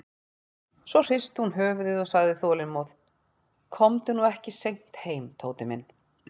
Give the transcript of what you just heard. Svo hristi hún höfuðið og sagði þolinmóð: Komdu nú ekki seint heim, Tóti minn.